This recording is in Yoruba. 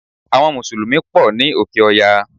Àwon mùsùlùmí pò ní òkè oya